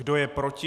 Kdo je proti?